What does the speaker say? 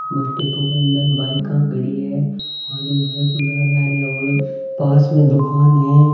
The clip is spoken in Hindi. बस डिपो के अंदर बाइका खड़ी है और ये भाई कुछ जारया आरया और पास मे दुकान है।